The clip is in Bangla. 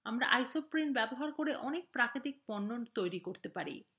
আমরা isoprene ব্যবহার করে অনেক প্রাকৃতিক পণ্য তৈরি করতে পারি